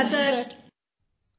समूह स्वर धन्यवाद सर